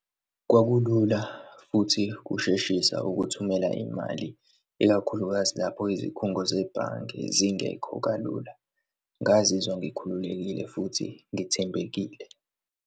Kwakulula futhi kusheshisa ukuthumela imali, ikakhulukazi lapho izikhungo zebhange zingekho kalula. Ngazizwa ngikhululekile futhi ngithembekile.